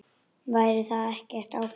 Væri það ekki ágætt?